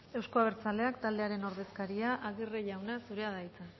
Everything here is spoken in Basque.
euzko abertzaleak taldearen ordezkaria aguirre jauna zurea da hitza